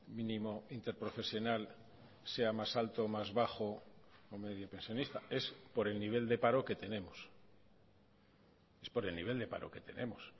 mínimo interprofesional sea más alto más bajo o medio pensionista es por el nivel de paro que tenemos es por el nivel de paro que tenemos